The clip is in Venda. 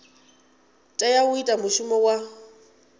tea u ita mushumo wa